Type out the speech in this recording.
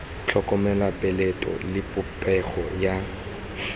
tlhokomela mopeleto le popego ya